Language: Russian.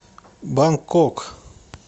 бангкок